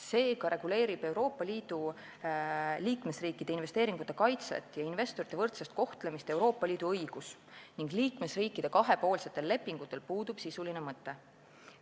Seega reguleerib Euroopa Liidu liikmesriikide investeeringute kaitset ja investorite võrdset kohtlemist Euroopa Liidu õigus ning liikmesriikide kahepoolsetel lepingutel puudub sisuline mõte.